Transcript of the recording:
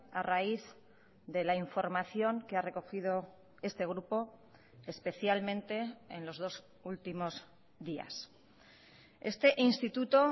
a raíz de la información que ha recogido este grupo especialmente en los dos últimos días este instituto